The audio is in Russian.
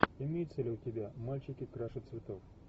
имеется ли у тебя мальчики краше цветов